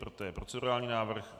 Toto je procedurální návrh.